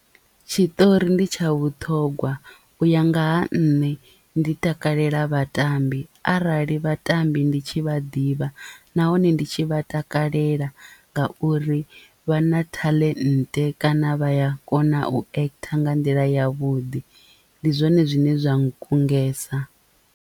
Tshiṱori ndi tsha vhuṱhogwa u ya nga ha nṋe ndi takalela vhatambi arali vhatambi ndi tshi vha ḓivha nahone ndi tshi vha takalelela ngauri vha na taḽente kana vha ya kona u ekhitha nga nḓila yavhuḓi ndi zwone zwine zwa nkungesa.